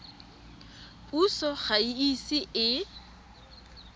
puso ga e ise e